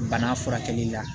Bana furakɛli la